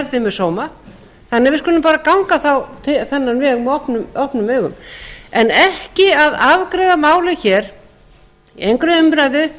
þannig að við skulum bara ganga þá þennan veg með opnum augum en ekki að afgreiða málið hér í engri umræðu